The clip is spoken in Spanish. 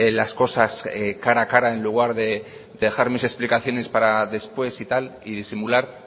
las cosas cara a cara en lugar de dejar mis explicaciones para después y tal y disimular